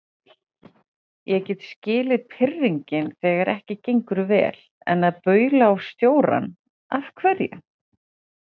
Ég get skilið pirringinn þegar ekki gengur vel, en að baula á stjórann. af hverju?